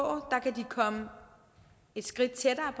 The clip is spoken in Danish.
kan komme et skridt tættere